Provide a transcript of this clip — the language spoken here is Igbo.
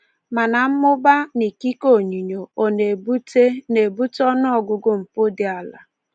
Mana mmụba na ikike onyinyo ọ na-ebute na-ebute ọnụọgụgụ mpụ dị ala?